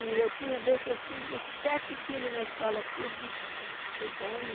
E eu tinha a vez que eu tive sete filhos na escola, todos estudando.